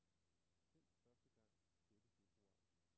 Sendt første gang sjette februar.